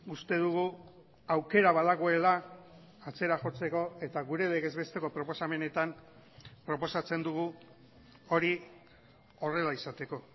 uste dugu aukera badagoela atzera jotzeko eta gure legez besteko proposamenetan proposatzen dugu hori horrela izateko